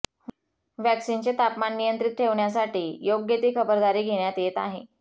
व्हॅक्सीनचे तापमान नियंत्रित ठेवण्यासाठी योग्य ती खबरदारी घेण्यात येत आहे